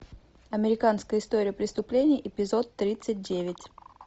американская история преступлений эпизод тридцать девять